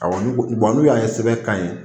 Awɔ n'u ko k'u b'a n'u y'a ye sɛbɛn ka ɲi